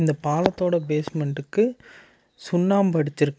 இந்த பாலத்தோட பேஸ்மென்டுக்கு சுண்ணாம்பு அடிச்சுருக்கா.